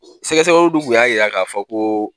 Sɛgɛsɛgɛliw dun kun y'a yira k'a fɔ ko